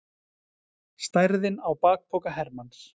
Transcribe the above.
Stærðin á bakpoka hermanns.